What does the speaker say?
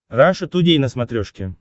раша тудей на смотрешке